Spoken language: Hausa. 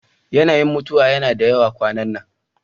Yanayin mutuwa yana da yawa kwanan nan.